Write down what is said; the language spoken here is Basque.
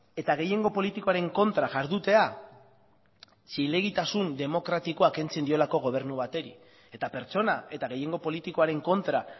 eta gehiengo politikoaren kontra jardutea zilegitasun demokratikoa kentzen diolako gobernu bati eta pertsona eta gehiengo politikoaren kontra